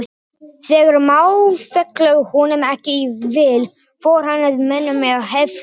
Þegar mál féllu honum ekki í vil fór hann að mönnum með herflokka.